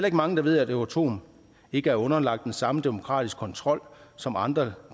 ikke mange der ved at euratom ikke er underlagt den samme demokratiske kontrol som andre